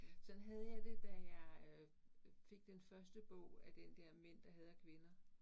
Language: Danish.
Sådan havde jeg det, da jeg øh fik den første bog af den der Mænd der hader kvinder